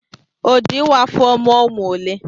O jị ịwa afọ mụọ ụmụ ole?